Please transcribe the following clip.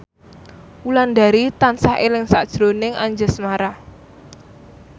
Wulandari tansah eling sakjroning Anjasmara